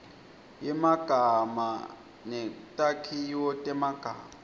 yemagama netakhiwo temagama